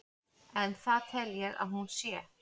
en það tel ég að hún sé.